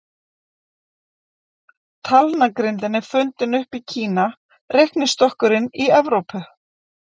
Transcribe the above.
Talnagrindin er upp fundin í Kína, reiknistokkurinn í Evrópu.